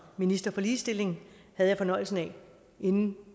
minister for ligestilling havde jeg fornøjelsen af inden